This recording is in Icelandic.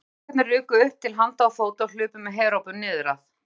Strákarnir ruku upp til handa og fóta og hlupu með herópum niður að